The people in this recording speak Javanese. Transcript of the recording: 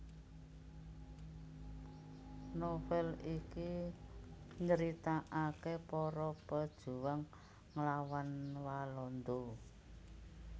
Novel iki nyritaaké para pejuang nglawan Walanda